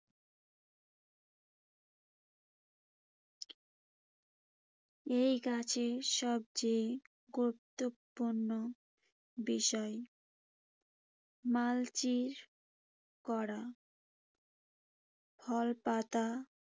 এই গাছের সবচেয়ে গুরুত্বপূর্ণ বিষয় মালচিং করা। ফল-পাতা